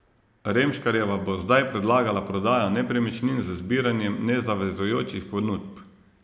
Remškarjeva bo zdaj predlagala prodajo nepremičnin z zbiranjem nezavezujočih ponudb.